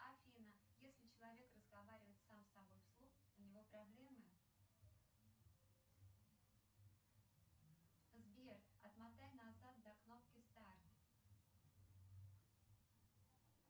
афина если человек разговаривает сам с собой вслух у него проблемы сбер отмотай назад до кнопки старт